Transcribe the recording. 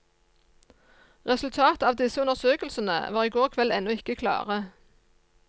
Resultatet av disse undersøkelsene var i går kveld ennå ikke klare.